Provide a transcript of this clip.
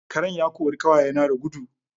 Karen ya ƙori ƙawaye na da dugu